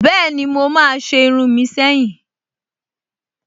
Bẹ́ẹ̀ni, mo máa se irun mi seyin